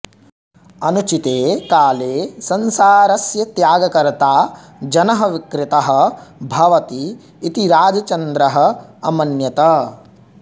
अनुचिते काले संसारस्य त्यागकर्ता जनः विकृतः भवति इति राजचन्द्रः अमन्यत